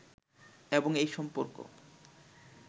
এবং এই সম্পর্ক